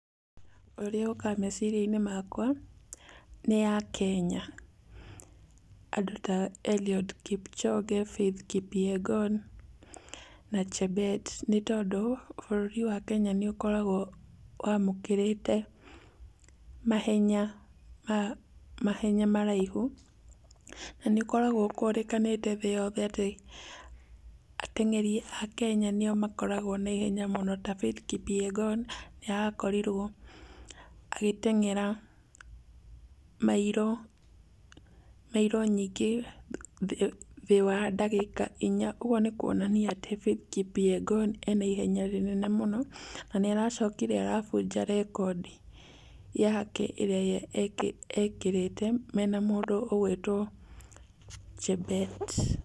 Ũrĩa ũkaga meciria-inĩ makwa, nĩ akenya. Andũ ta Eliud Kipchoge, Faith Kipyegon, na chebet. Nĩ tondũ bũrũri wa Kenya nĩ ũkoragwo wamũkĩrĩte mahenya maraihu, na nĩ ũkoragwo ũkũrĩkanĩte thĩ yothe atĩ ateng'eri a Kenya nĩo makoragwo na ihenya mũno ta Faith Kipyegon nĩ arakorirwo agĩteng'era mairũ, mairũ nyingĩ thĩ wa ndagĩka inya. Ũguo nĩkuonania atĩ Faith Kipyegon ena ihenya rĩnene mũno na nĩaracokire arabuta rekondi yake ĩrĩa ekĩrĩte mena mũndũ ũgwĩtwo Chebet.